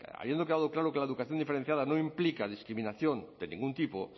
habiendo quedado claro que la educación diferenciada no implica discriminación de ningún tipo